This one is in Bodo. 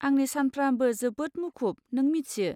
आंनि सानफ्राबो जोबोद मुखुब, नों मिथियो।